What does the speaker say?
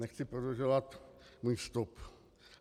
- Nechci prodlužovat svůj vstup.